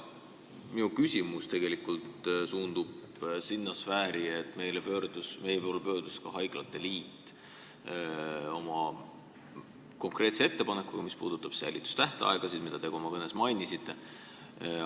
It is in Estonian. Minu küsimus suundub sinna sfääri, et meie poole pöördus ka haiglate liit oma konkreetse ettepanekuga, mis puudutab säilitustähtaegasid, mida te ka oma kõnes mainisite.